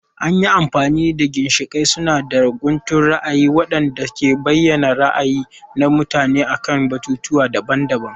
An yi amfani da ginshiƙai suna da guntun ra'ayi waɗanda ke bayyana ra'ayi na mutum akan batutuwa daban-daban.